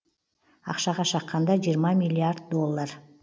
ақшаға шаққанда жиырма миллиард доллар